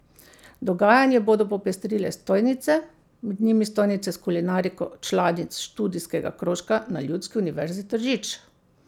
Dogajanje bodo popestrile stojnice, med njimi stojnice s kulinariko članic študijskega krožka na Ljudski univerzi Tržič.